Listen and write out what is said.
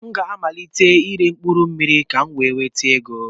A ga m amalite ire mkpụrụmmiri ka m wee nweta ego.